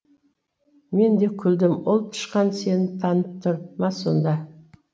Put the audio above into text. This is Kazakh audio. мен де күлдім ол тышқан сені танып тұр ма сонда